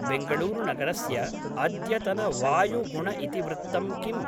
बेङ्गळूरुनगरस्य अद्यतनवायुगुणइतिवृत्तम् किम्